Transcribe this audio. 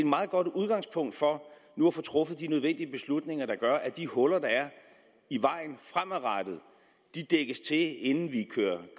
meget godt udgangspunkt for nu at få truffet de nødvendige beslutninger der gør at de huller der er i vejen fremadrettet dækkes til inden vi